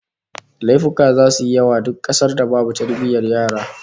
Laifuka zasu yi yawa a duk kasar da babu tarbiyyar yara